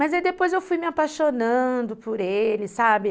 Mas aí depois eu fui me apaixonando por ele, sabe?